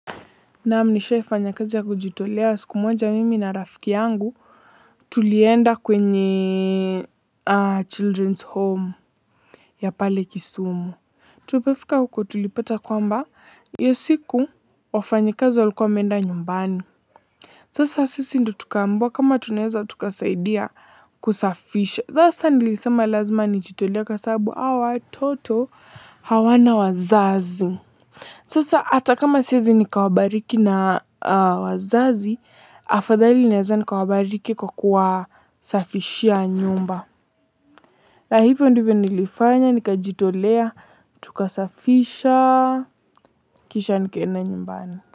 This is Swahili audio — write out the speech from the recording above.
Naam, nishaifanya kazi ya kujitolea siku moja mimi na rafiki yangu tulienda kwenye children's home ya pale Kisumu. Tulioofika huko tulipata kwamba hiyo siku wafanyikazi wa likuwa wameenda nyumbani. Zasa sisi ndo tukambiwa kama tunaeza tukasaidia kusafisha. Sasa nilisema lazima nijitolee kwa sababu hawa watoto hawana wazazi. Sasa ata kama siezi nikawabariki na wazazi, afadhali naweza nikawabariki kwa kuwasafishia nyumba. Na hivyo ndivyo nilifanya, nikajitolea, tukasafisha, kisha nikaenda nyumbani.